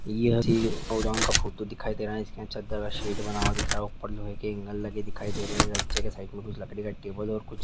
यह जी गोदान का फोटो दिखाई दे रहा है इसमें चदर का शिट बना हुआ दिखाई दे रहा है ऊपर मुझे लोहे का एंगल दिखाई दे रहे है च्चे के साईड में कुछ लकड़ी का टेबल और कुछ --